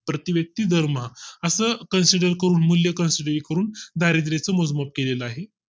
प्रति व्यक्ती दरमाहा असं consider करून मूल्य Consider करून दारिद्याचे मोजमाप केलेलं आहे